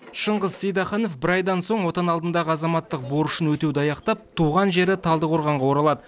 шыңғыс сейдахынов бір айдан соң отан алдындағы азаматтық борышын өтеуді аяқтап туған жері талдықорғанға оралады